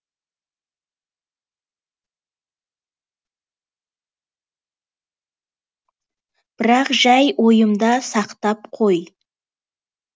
бірақ жай ойымда сақтап қой